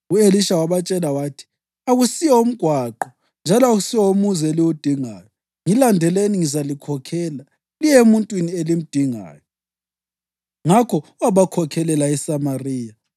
U-Elisha wabatshela wathi, “Akusiwo umgwaqo njalo akusiwo umuzi eliwudingayo. Ngilandelani, ngizalikhokhela liye emuntwini elimdingayo.” Ngakho wabakhokhelela eSamariya.